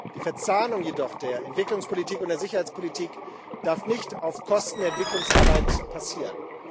Die Verzahnung der Entwicklungspolitik und der Sicherheitspolitik darf jedoch nicht auf Kosten der Entwicklungsarbeit passieren.